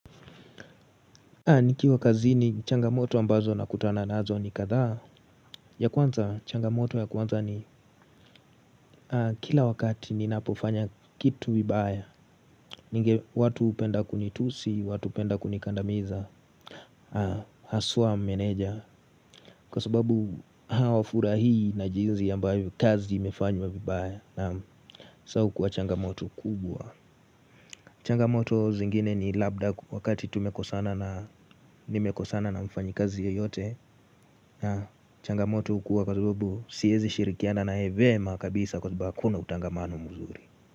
Nikiwa kazini changamoto ambazo nakutana nazo ni kathaa. Ya kwanza, changamoto ya kwanza ni, kila wakati ninapofanya kitu vibaya ninge watu hupenda kunitusi, watu hupenda kunikandamiza, haswaa meneja. Kwa sababu hawafurahii na jinsi ambayo kazi imefanywa vibaya sasa huukuwa changamoto kubwa. Changamoto zingine ni labda wakati tumekosana na nimekosana na mfanyi kazi yeyote na changamoto hukuwa kwa sababu siwezi shirikiana na yeye vyema kabisa kwa sababu hakuna utangamano mzuri.